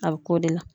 A bɛ k'o de la